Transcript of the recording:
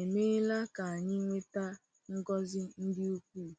emeela ka anyị nweta ngọzi ndị ukwuu!